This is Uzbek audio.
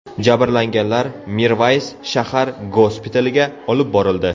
Jabrlanganlar Mirvays shahar gospitaliga olib borildi.